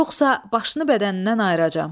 Yoxsa başını bədənindən ayıracam.